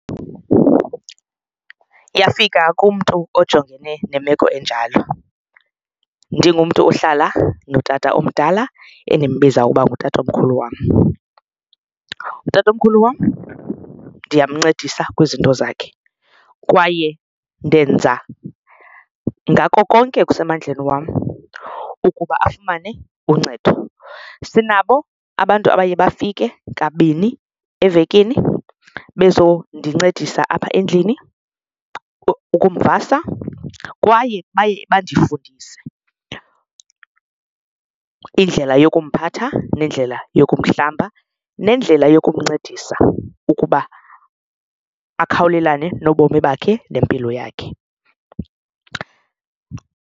Yafika kumntu ojongene nemeko enjalo ndingumntu ohlala notata omdala endimbiza ngokuba ngutatomkhulu wam, utatomkhulu wam ndiyamncedisa kwizinto zakhe kwaye ndenza ngako konke okusemandleni wam ukuba afumane uncedo. Sinabo abantu abaye bafike kabini evekini bezondincedisa apha endlini ukumvasa kwaye baye bandifundise indlela yokumphatha nendlela yokumhlamba nendlela yokumncedisa ukuba akhawulelane nobomi bakhe nempilo yakhe.